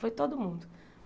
Foi todo mundo.